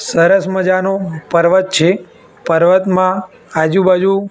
સરસ મજાનુ પર્વત છે પર્વતમાં આજુ બાજુ--